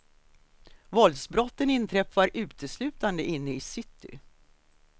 Våldsbrotten inträffar uteslutande inne i city.